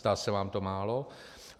Zdá se vám to málo?